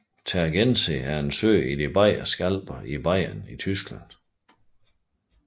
Tegernsee er en sø i de Bayerske Alper i Bayern i Tyskland